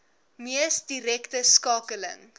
mees direkte skakeling